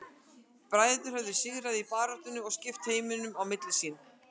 Bræðurnir höfðu sigur í baráttunni og skiptu heiminum á milli sín.